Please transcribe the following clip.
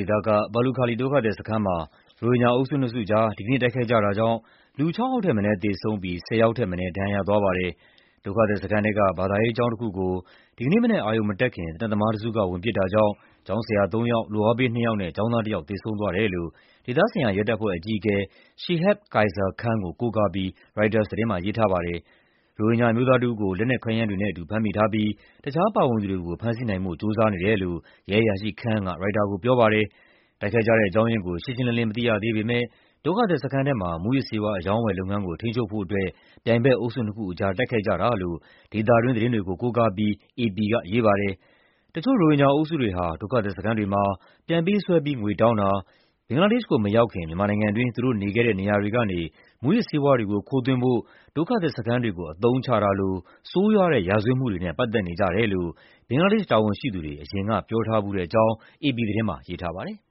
ေသက ဘာလုခါလီ ဒုက္ခသည်စခန်းမှာ ရိုဟင်ဂျာ အုပ်စုနှစ်စုကြား ဒီကနေ့ တိုက်ခိုက်ကြတာကြောင့် လူ ၆ ယောက်ထက်မနည်း သေဆုံးပြီး ၁၀ ယောက်ထက်မနည်း ဒဏ်ရာရသွားပါတယ်။ ဒုက္ခသည်စခန်းထဲက ဘာသာရေးကျောင်းတခုကို ဒီကနေ့မနက် အရုဏ်မတက်ခင် သေနတ်သမားတစုက ဝင်ပစ်တာကြောင့် ကျောင်းဆရာသုံးယောက်၊ လုပ်အားပေးနှစ်ယောက်နဲ့ ကျောင်းသားတယောက် သေဆုံးသွားတယ်လို့ ဒေသဆိုင်ရာ ရဲတပ်ဖွဲ့အကြီးအကဲ Shihab Kaiser Khan ကို ကိုးကားပြီး ရိုက်တာသတင်းမှာ ရေးထားပါတယ်။ ရိုဟင်ဂျာအမျိုးသားတဦးကို လက်နက်ခဲယမ်းတွေနဲ့အတူ ဖမ်းမိထားပြီး တခြားပါဝင်သူတွေကို ဖမ်းဆီးနိုင်ဖို့ ကြိုးစားနေတယ်လို့ ရဲအရာရှိ Khan က ရိုက်တာကိုပြောပါတယ်။ တိုက်ခိုက်ကြတဲ့အကြောင်းရင်းကို ရှင်းရှင်းလင်းလင်း မသိရသေးပေမယ့် ဒုက္ခသည်စခန်းထဲမှာ မူးယစ်ဆေးဝါး အရောင်းအဝယ်လုပ်ငန်းကို ထိန်းချုပ်ဖို့အတွက် ပြိုင်ဘက်အုပ်စုနှစ်ခုကြား တိုက် ခိုက်ကြတာလို့ ဒေသတွင်းသတင်းတွေကို ကိုးကားပြီး အေပီကရေးပါတယ်။ တချို့ ရိုဟင်ဂျာအုပ်စုတွေဟာ ဒုက္ခသည်စခန်းတွေမှာ ပြန်ပေးဆွဲပြီး ငွေတောင်းတာ၊ ဘင်္ဂလားဒေ့ရှ်ကို မရောက်ခင် မြန်မာနိုင်ငံတွင်း သူတို့နေခဲ့တဲ့နေရာတွေကနေ မူးယစ်ဆေးဝါးတွေကို ခိုးသွင်းဖို့ ဒုက္ခသည်စခန်းတွေကို အသုံးချတာလို ဆိုးရွားတဲ့ရာဇဝတ်မှုတွေနဲ့ ပတ်သက်နေကြတယ်လို့ ဘင်္ဂလားဒေ့ရှ် တာဝန်ရှိသူတွေ အရင်က ပြောထားဖူးတဲ့အကြောင်း အေပီသတင်းမှာ ရေးထားပါတယ်။